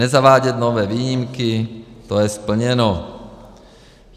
Nezavádět nové výjimky, to je splněno.